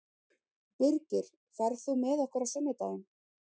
Birgir, ferð þú með okkur á sunnudaginn?